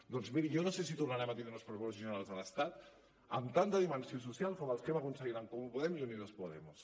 doncs miri jo no sé si tornarem a tindre uns pressupostos generals de l’estat amb tanta dimensió social com els que hem aconseguit en comú podem i unidos podemos